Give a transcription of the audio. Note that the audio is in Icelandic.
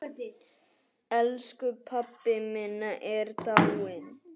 Elsku pabbi minn er dáinn.